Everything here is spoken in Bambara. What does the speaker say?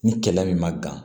Ni kɛlɛ min ma gan